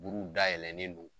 Buruw dayɛlɛnen don